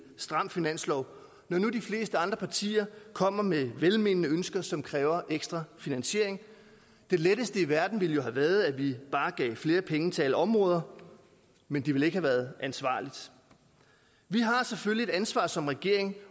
stram finanslov når nu de fleste andre partier kommer med velmenende ønsker som kræver ekstra finansiering det letteste i verden ville jo have været at vi bare gav flere penge til alle områder men det ville ikke have været ansvarligt vi har selvfølgelig et ansvar som regering